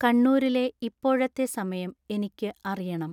കണ്ണൂരിലെ ഇപ്പോഴത്തെ സമയം എനിക്കു അറിയണം